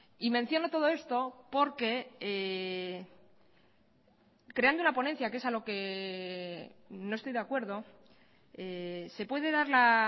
y menciono todo esto porque creando la ponencia que es a lo que no estoy de acuerdo se puede dar la